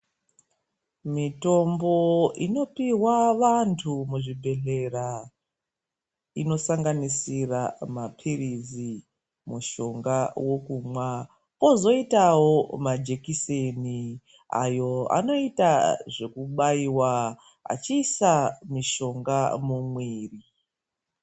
Mitombo inopihwa vandu muzvibhedhlera inosanganisira mapirizi, mushonga wekumwa, kozoitawo majekiseni ayo anoita zvekubaiwa achiisa mushonga mumwiri.